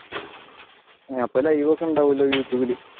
അപ്പൊ ലൈവ് ഒക്കെ ഉണ്ടാകുമല്ലോ youtube ഇൽ